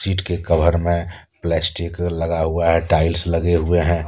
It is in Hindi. इटके कवर में प्लास्टिक लगा हुआ है टाइल्स लगे हुए हैं।